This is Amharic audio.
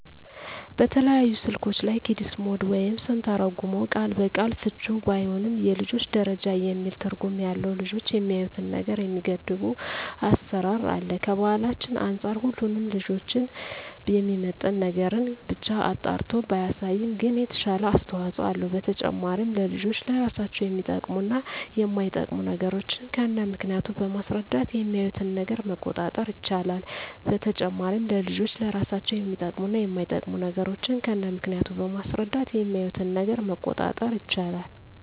በተለያዩ ስልኮች ላይ "ኪድስ ሞድ" ወይም ስንተረጉመው ቃል በቃል ፍችውም ባይሆን የልጆች ደረጃ የሚል ትርጉም ያለው ልጆች የሚያዪትን ነገር የሚገድብ አሰራር አለ። ከባህላችን አንፃር ሁሉንም ልጆችን የሚመጥን ነገርን ብቻ አጣርቶ ባያሳይም ግን የተሻለ አስተዋጽኦ አለው። በተጨማሪም ለልጆች ለራሳቸው የሚጠቅሙ እና የማይጠቅሙ ነገሮችን ከነምክንያቱ በማስረዳት የሚያዪትን ነገር መቆጣጠር ይቻላል። በተጨማሪም ለልጆች ለራሳቸው የሚጠቅሙ እና የማይጠቅሙ ነገሮችን ከነምክንያቱ በማስረዳት የሚያዪትን ነገር መቆጣጠር ይቻላል።